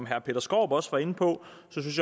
herre peter skaarup også inde på